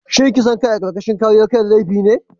Shin kisan kai a karkashin kariyar kai laifi ne?